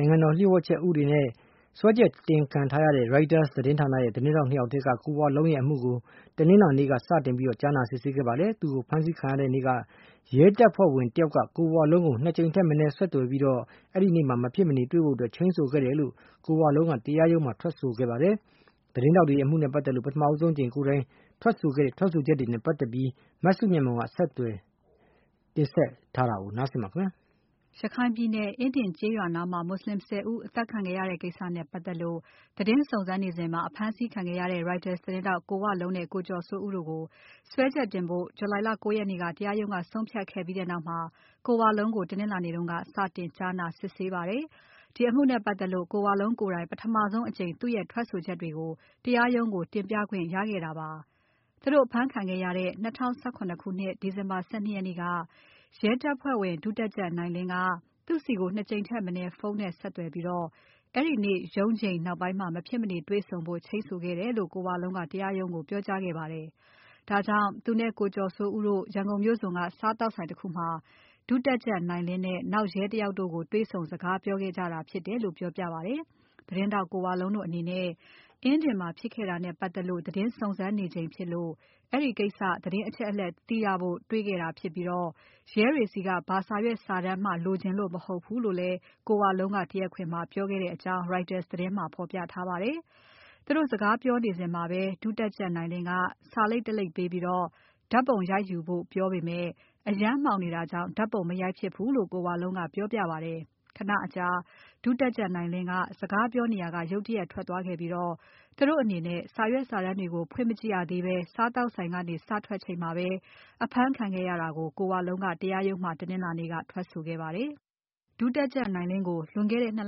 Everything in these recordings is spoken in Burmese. ိုင်ငံတော်လှို့ဝှက်ချက်ဥပဒေနဲ့ စွဲချက်တင်ခံထားရတဲ့ Reuters သတင်းထောက် ၂ ယောက်ထဲက ကိုဝလုံးရဲ့ အမှုကို တနင်္လာနေ့က စတင်ကြားနာစစ်ဆေးခဲ့ပါတယ်။ သူတို့ဖမ်းဆီးခံရတဲ့နေ့က ရဲတပ်ဖွဲ့ဝင်တယောက်က ကိုဝလုံးကို ၂ ကြိမ်ထက်မနည်းဆက်သွယ်ပြီး အဲဒီနေ့မှာ မဖြစ်မနေ တေ့ွဆုံဖို့ ချိန်းဆိုခဲ့တယ်လို့ ကိုဝလုံးက တရားရုံးမှာ ထွက်ဆိုခဲ့ပါတယ်။ သတင်းထောက်တွေရဲ့ အမှုနဲ့ပါတ်သက်လို့ ပထမဆုံးအကြိမ် ကိုယ်တိုင် ထွက်ဆိုခဲ့ချက်တွေနဲ့ ပတ်သက်လို့ မစုမြတ်မွန်က ဆက်ပြီးတင်ပြပါမယ်။ ရခိုင်ပြည်နယ် အင်းဒင်ကျေးရွာနားမှာ မွတ်ဆလင် ၁၀ ဦးအသတ်ခံခဲ့ရတဲ့ကိစ္စနဲ့ပါတ်သက်လို့ သတင်းစုံစမ်းနေစဉ်မှာ အဖမ်းဆီးခံခဲ့ရတဲ့ Reuters သတင်းထောက် ကိုဝလုံးနဲ့ ကိုကျော်စိုးဦးတို့ကို စွဲချက်တင်ဖို့ July လ ၉ ရက်နေ့က တရားရုံးက ဆုံးဖြတ်ခဲ့ပြီးနောက် ကိုဝလုံးကို တနင်္လာနေ့က စတင်ကြားနာစစ်ဆေးပါတယ်။ ဒီအမှုနဲ့ပါတ်သက်လို့ ကိုဝလုံးကိုယ်တိုင် ပထမဆုံးအကြိမ်သူ့ရဲ့ ထွက်ဆိုချက်တွေကို တရားရုံးကို တင်ပြခွင့်ရခဲ့တာပါ။ သူတို့အဖမ်းခံခဲ့ရတဲ့ ၂၀၁၇ ခုနှစ် ဒီဇင်ဘာ ၁၂ ရက်နေ့က ရဲတပ်ဖွဲ့ဝင် ဒုတပ်ကြပ်နိုင်လင်းက သူ့ဆီကို ၂ ကြိမ်ထက်မနည်း ဖုန်းနဲ့ဆက်သွယ်ပြီး အဲဒီနေ့ ရုံးချိန်နောက်ပိုင်းမှာ မဖြစ်မနေ တွေ့ဆုံဖို့ ချိန်းဆိုခဲ့တယ်လို့ ကိုဝလုံးက တရားရုံးကို ပြောကြားခဲ့ပါတယ်။ ဒါကြောင့် သူနဲ့ ကိုကျော်စိုးဦးတို့ ရန်ကုန်မြို့စွန်က စားသောက်ဆိုင်တခုမှာ ဒုတပ်ကြပ်နိုင်လင်းနဲ့ နောက်ရဲတယောက်တို့ကို တွေ့ဆုံစကားပြောခဲ့ကြတာဖြစ်တယ်လို့ပြောပြပါတယ်။ သတင်းထောက် ကိုဝလုံးတို့အနေနဲ့ အင်းဒင်မှာဖြစ်ခဲ့တာနဲ့ပါတ်သက်လို့ သတင်းစုံစမ်းနေချိန်ဖြစ်လို့ အဲဒီကိစ္စ သတင်းအချက်အလက် သိရဖို့တွေ့ခဲ့တာဖြစ်ပြီး ရဲတွေဆီက ဘာစာရွက်စာတမ်းမှ လိုချင်လို့ မဟုတ်ဘူးလို့လည်း ကိုဝလုံးက တရားခွင်မှာပြောခဲ့တဲ့အကြောင်း Reuters သတင်းမှာဖော်ပြထားပါတယ်။ သူတို့ စကားပြောနေစဉ်မှာပဲ ဒုတပ်ကြပ်နိုင်လင်းက စာလိပ်တလိပ်ပေးပြီး ဓါတ်ပုံရိုက်ယူဖို့ ပြောပေမဲ့ အရမ်းမှောင်နေတာကြောင့် ဓါတ်ပုံ မရိုက်ဖြစ်ဘူးလို့ ကိုဝလုံးက ပြောပြပါတယ်။ ခဏအကြာ ဒုတပ်ကြပ်နိုင်လင်းက စကားပြောနေရာက ရုတ်တရက်ထွက်သွားခဲ့ပြီး သူတို့အနေနဲ့ စာရွက်စာတမ်းတွေကို ဖွင့်မကြည့်ရသေးဘဲ စားသောက်ဆိုင်ကနေ စထွက်ချိန်မှာပဲ အဖမ်းခံခဲ့ရတာကို ကိုဝလုံးက တရားရုံးမှာ တနင်္လာနေ့က ထွက်ဆိုခဲ့ပါတယ်။ ဒုတပ်ကြပ်နိုင်လင်းကို လွန်ခဲ့တဲ့ ၂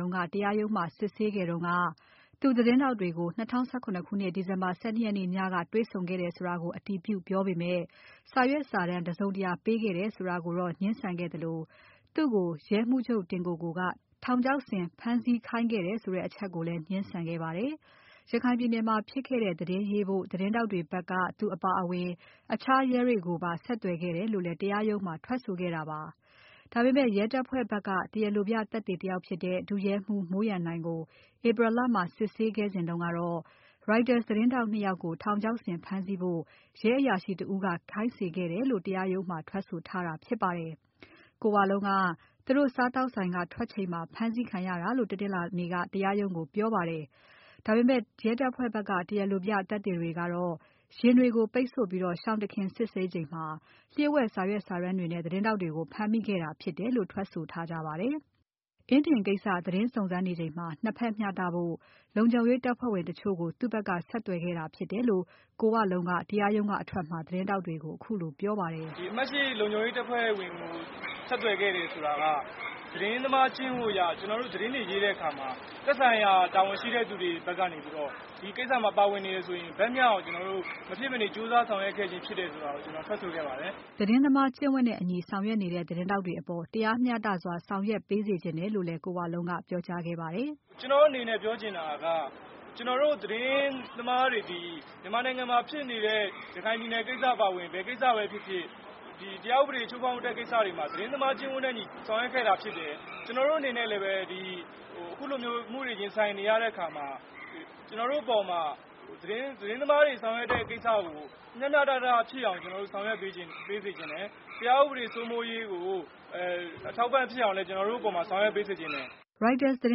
လက တရားရုံးမှာ စစ်ဆေးခဲ့တုန်းက သူ သတင်းထောက်တွေကို ၂၀၁၇ ခုနှစ် ဒီဇင်ဘာ ၁၂ ရက်နေ့ညက တေ့ွဆုံခဲ့တယ်ဆိုတာကို အတည်ပြုပြောပေမဲ့ စာရွက်စာတမ်း တစုံတရာ ပေးခဲ့တယ်ဆိုတာကို ငြင်းဆန်ခဲ့သလို သူ့ကို ရဲမှူးချုပ်တင်ကိုကိုက ထောင်ချောက်ဆင် ဖမ်းဆီးခိုင်းခဲ့တယ်ဆိုတဲ့အချက်ကိုလည်း ငြင်းဆန်ခဲ့ပါတယ်။ ရခိုင်ပြည်နယ်မှာ ဖြစ်ခဲ့တဲ့သတင်းရေးဖို့ သတင်းထောက်တွေဖက်က သူအပါအဝင် အခြားရဲတွေကိုပါ ဆက်သွယ်ခဲ့တယ်လို့လည်း တရားရုံးမှာ ထွက်ဆိုခဲ့တာပါ။ ဒါပေမဲ့ ရဲတပ်ဖွဲ့ဖက်က တရားလိုပြသက်သေတယောက်ဖြစ်တဲ့ ဒုရဲမှုးမိုးရန်နိုင်ကို April လမှာ စစ်ဆေးခဲ့စဉ်တုန်းက Reuters သတင်းထောက် ၂ ယောက်ကို ထောက်ချောက်ဆင် ဖမ်းဆီးဖို့ ရဲအရာရှိတစ်ဦးက ခိုင်းစေခဲ့တယ်လို့ တရားရုံးမှာ ထွက်ဆိုထားတာဖြစ်ပါတယ်။ ကိုဝလုံးက သူတို့စားသောက်ဆိုင်က ထွက်ချိန်မှာ ဖမ်းဆီးခံရတာလို့ တနင်္လာနေ့က တရားရုံးကိုပြောပါတယ်။ ဒါပေမဲ့ ရဲတပ်ဖဲ့ွဖက်က တရားလိုပြ သက်သေတွေကတော့ ယာဉ်တွေကိုပိတ်ဆို့ပြီး ရှောင်တခင် စစ်ဆေးချိန်မှာ လှို့ဝှက် စာရွက်စာတမ်းတွေနဲ့ သတင်းထောက်တွေကို ဖမ်းမိခဲ့တာဖြစ်တယ်လို့ ထွက်ဆိုထားကြပါတယ်။ အင်းဒင်ကိစ္စသတင်းစုံစမ်းနေချိန်မှာ ၂ ဖက်မျှတဖို့ လုံခြုံရေးတပ်ဖွဲ့ဝင်တချို့ကို သူ့ဖက်က ဆက်သွယ်ခဲ့တာဖြစ်တယ်လို့ ကိုဝလုံးက တရားရုံးကအထွက်မှာ သတင်းထောက်တွေကို ခုလိုပြောပါတယ်။ "ဒီအမှတ်၈ လုံခြုံရေးတပ်ဖွဲ့ဝင် ဆက်သွယ်ခဲ့တယ်ဆိုတာက သတင်းသမားကျင့်ဝတ်အရ ကျနော်တို့ သတင်းတွေရေးတဲ့အခါမှာ သက်ဆိုင်ရာတာဝန်ရှိတဲ့လူတွေကနေပြီးတော့ ဒီကိစ္စမှာ ပါဝင်နေတယ်ဆိုရင် ဘက်မျှအောင်ကျနေ်ာတို့ မဖြစ်မနေကြိုးစားဆောင်ရွက်ခဲ့ခြင်းဖြစ်တယ် ဆိုတာကို ထွက်ဆိုခဲ့ပါတယ်။" သတင်းသမားကျင့်ဝတ်အညီဆောင်ရွက်နေတဲ့ သတင်းထောက်တွေအပေါ် တရားမျှတစွာ ဆောင်ရွက်ပေးစေချင်တယ်လို့လည်း ကိုဝလုံးက ပြောကြားခဲ့ပါတယ်။ "ကျနော်တို့အနေနဲ့ ပြောချင်တာက ကျနော်တို့သတင်းသမားတွေသည် မြန်မာနိုင်ငံမှာဖြစ်နေတဲ့ ရခိုင်ကိစ္စအပါအဝင် ဘယ်ကိစ္စပဲဖြစ်ဖြစ် တရားဥပဒေချိုးဖောက်တဲ့ကိစ္စတွေမှာ သတင်းသမားကျင့်ဝတ်အညီဆောင်ရွက်ခဲ့တာဖြစ်တယ်။ ကျနော်တို့အနေနဲ့လည်း အခုလိုအမှုတွေရင်ဆိုင်နေရတဲ့အခါမှာ ကျနော်တို့အပေါ်မှာ သတင်းသမားတွေဆောင်ရွက်တဲ့ကိစ္စကို မျှမျှတတဖြစ်အောင်ကျနော်တို့ ဆောင်ရွက်ပေးစေချင်တယ်။ တရားဥပဒေစိုးမိုးရေးကို အထောက်အပံ့ဖြစ်အောင်လည်း ကျနော်တို့အပေါ်မှာဆောင်ရွက်ပေးစေချင်တယ်။" Reuters သတ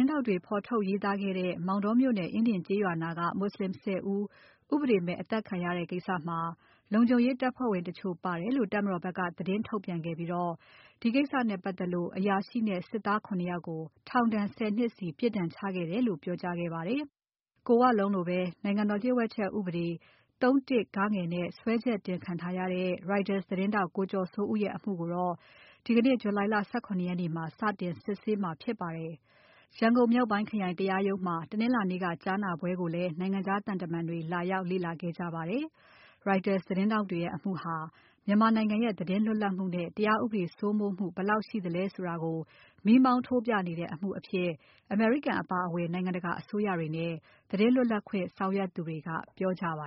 င်းထောက်တွေ ဖော်ထုတ်ရေးသားခဲ့တဲ့ မောတောမြို့နယ် အင်းဒင်ကျေးရွာနားက မွတ်ဆလင် ၁၀ ဦး ဥပဒေမဲ့ အသတ်ခံရတဲ့ကိစ္စမှာ လုံခြုံရေးတပ်ဖွဲ့ဝင်တချို့ပါတယ်လို့ တပ်မတော်ဖက်က သတင်းထုတ်ပြန်ခဲ့ပြီး ဒီကိစ္စနဲ့ပါတ်သက်လို့ အရာရှိနဲ့ စစ်သား ၇ ယောက်ကို ထောင်ဒဏ် ၁၀ နှစ်စီ ပြစ်ဒဏ်ချခဲ့တယ်လို့ ပြောကြားခဲ့ပါတယ်။ ကိုဝလုံးလိုဘဲ နိုင်ငံတော်လှို့ဝှက်ချက်အက်ဥပဒေ ၃ (၁) (ဂ) နဲ့စွဲချက်တင်ခံထားရတဲ့ Reuters သတင်းထောက် ကိုကျော်စိုးဦးရဲ့ အမှုကိုတော့ ဒီကနေ့ July လ ၁၇ ရက်နေ့မှာ စတင်စစ်ဆေးမှာဖြစ်ပါတယ်။ ရန်ကုန် မြောက်ပိုင်းခရိုင်တရားရုံးမှာ တနင်္လာနေ့က ကြားနာပွဲကိုလည်း နိုင်ငံခြားသံတမန်တွေ လာရောက် လေ့လာခဲ့ကြပါတယ်။ Reuters သတင်းထောက်တွေရဲ့ အမှုဟာ မြန်မာနိုင်ငံရဲ့ သတင်းလွတ်လပ်မှုနဲ့ တရားဥပဒေစိုးမိုးမှု ဘယ်လောက်ရှိသလဲဆိုတာကို မီးမောင်းထိုးပြနေတဲ့ အမှုအဖြစ် အမေရိကန်အပါအဝင် နိုင်ငံတကာအစိုးရတွေနဲ့ သတင်းလွတ်လပ်ခွင့် ဆောင်ရွက်သူတွေက ပြောကြပါ